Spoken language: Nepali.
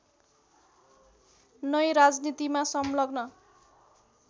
नै राजनीतिमा संलग्न